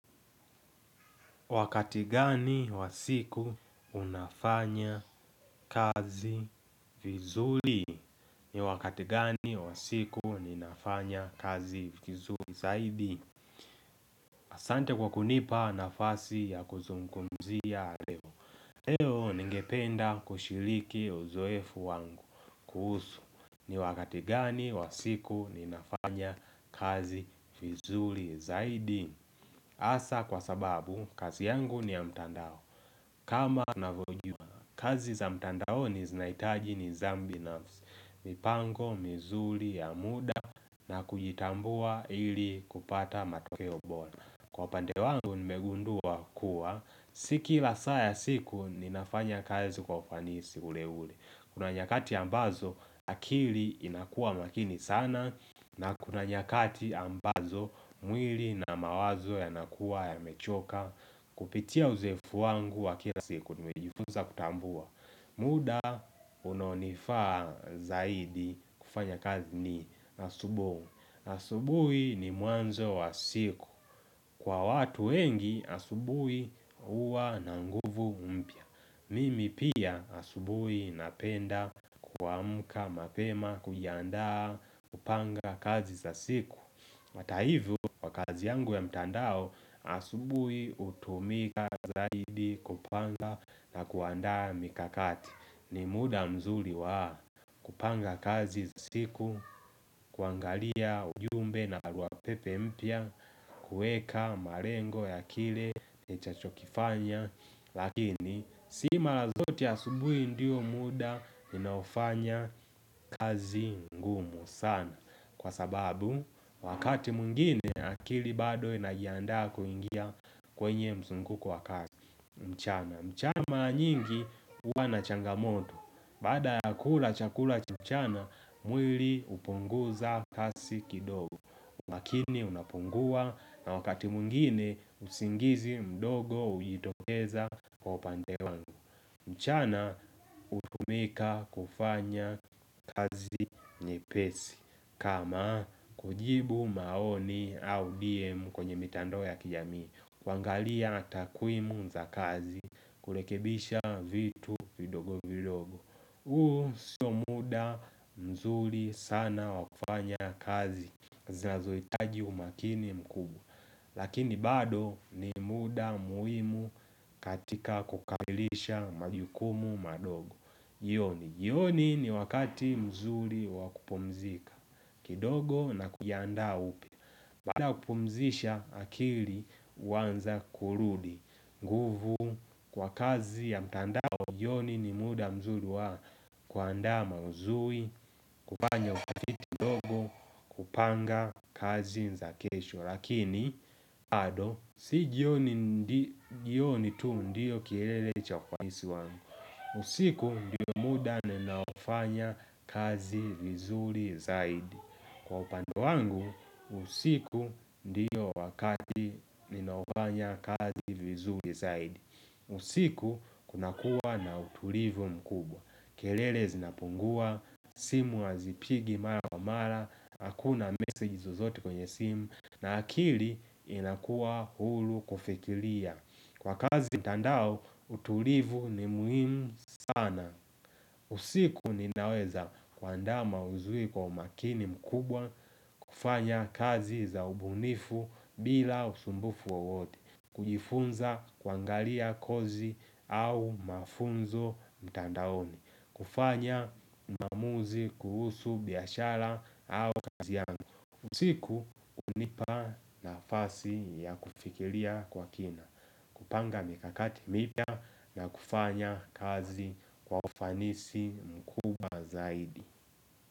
Wakati gani wa siku unafanya kazi vizuli? Ni wakati gani wa siku ninafanya kazi vizuli zaidi? Asante kwa kunipa nafasi ya kuzungumzia leo. Leo ningependa kushiliki uzoefu wangu kuhusu. Ni wakati gani wa siku ninafanya kazi vizuli zaidi? Asa kwa sababu kazi yangu ni ya mtandao. Kama na vyojua, kazi za mtandaoni zinaitaji ni zambi nafsi, mipango, mizuli, ya muda na kujitambua ili kupata matokeo bola. Kwa pande wangu nimegundua kuwa, si kila saa siku ninafanya kazi kwa ufanisi ule ule. Kuna nyakati ambazo akili inakua makini sana na kuna nyakati ambazo mwili na mawazo yanakua ya mechoka. Kupitia uzoefu wangu wa kila siku nimejifuza kutambua muda unaonifaa zaidi kufanya kazi ni asubu asubui ni muanzo wa siku Kwa watu wengi asubui uwa nanguvu mpya Mimi pia asubui napenda kuamka mapema kuyandaa kupanga kazi za siku Mataivu, kwa kazi yangu ya mtandao, asubui utumika zaidi kupanga na kuanda mikakati. Ni muda mzuri wa kupanga kazi siku, kuangalia ujumbe na barua pepe mpya, kuweka marengo ya kile nitakachokifanya. Lakini, sima zote asubui ndiyo muda ninapfanya kazi ngumu sana. Kwa sababu wakati mwingine akili bado inajiandaa kuingia kwenye mzunguko wa kazi mchana mchana maranyingi hua na changamoto Baada ya kula chakula mchana mwili hupunguza kazi kidogo makini unapungua na wakati mungine usingizi mdogo ujitokeza upande wangu mchana utumika kufanya kazi nyepesi kama kujibu maoni au DM kwenye mitandao ya kijami kuangalia takuimu za kazi Kulekebisha vitu vidogovidogo uo siyo muda mzuri sana wakufanya kazi Zinazoitaji umakini mkubu Lakini bado ni muda muhimu katika kukamilisha majukumu madogo Yoni, yoni ni wakati mzuri wakupumzika kidogo na kuyanda upya Baada ya kupumzisha akili Wanza kurudi Guvu kwa kazi ya mtandao Yoni ni muda mzuli wa Kwa anda mazui Kupanya utafiti kupanga kazi nza kesho Lakini bado Sijioni tu ndiyo kilele cha kwa nisi wangu usiku ndiyo muda ninaofanya kazi vizuli zaidi Kwa upande wangu usiku ndiyo wakati ninaofanya kazi vizuri zaidi usiku kuna kuwa na utulivu mkubwa kelele zinapungua, simu hazipigi mara kwa mara Hakuna meseji zozote kwenye simu na akili inakuwa hulu kufikilia Kwa kazi mtandao utulivu ni muhimu sana usiku ninaweza kuandaa mauzui kwa makini mkubwa kufanya kazi za ubunifu bila usumbufu wawote kujifunza kwangalia kozi au mafunzo mtandaoni kufanya maamuzi kuhusu biyashara au kazi yangu usiku unipa na fasi ya kufikilia kwa kina kupanga mikakati mipya na kufanya kazi kwa ufanisi mkubwa zaidi.